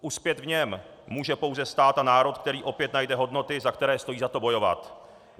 Uspět v něm může pouze stát a národ, který opět najde hodnoty, za které stojí za to bojovat.